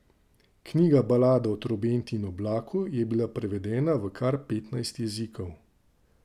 Knjiga Balada o trobenti in oblaku je bila prevedena v kar petnajst jezikov.